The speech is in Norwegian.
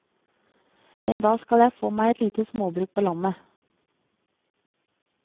En dag skal jeg få meg et lite småbruk på landet.